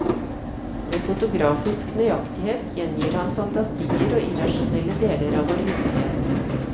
Med fotografisk nøyaktighet gjengir han fantasier og irrasjonelle deler av vår virkelighet.